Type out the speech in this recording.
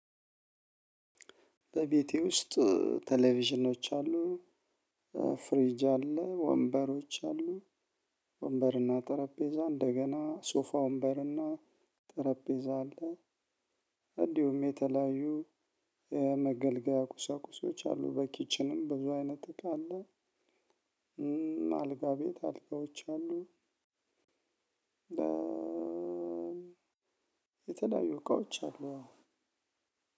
በቤቴ ውስጥ ቴሌቪዥኖች አሉ። ፍሪጅ አለ ወንበሮች አሉ። ወንበርና ጠረጴዛ እንደገና ሶፋ ወንበርና ጠረጴዛ አለ። እንዲሁም የተለያዩ የመገልገያ ቁሳቁሶች አሉ በኪችንም በብዙ አይነት እቃ አለ። አልጋ ቤት አልጋዎች አሉ። የተለያዩ እቃዎች አሉ።